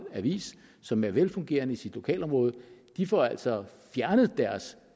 avis som er velfungerende i sit lokalområde de får altså fjernet deres